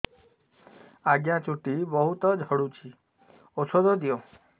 ଆଜ୍ଞା ଚୁଟି ବହୁତ୍ ଝଡୁଚି ଔଷଧ ଦିଅ